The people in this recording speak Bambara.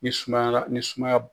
N'i sumayara ni sumaya